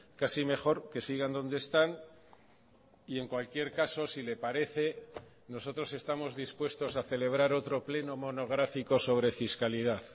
casi mejor que sigan donde están y en cualquier caso si le parece nosotros estamos dispuestos a celebrar otro pleno monográfico sobre fiscalidad